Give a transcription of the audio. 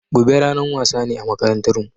Gobe ranan wasa ne a makarantan mu